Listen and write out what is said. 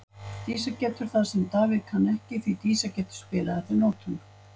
Dísa getur það sem að Davíð ekki kann, því Dísa getur spilað eftir nótum.